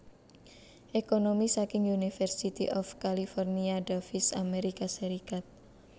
Ekonomi saking University of California Davis Amerika Serikat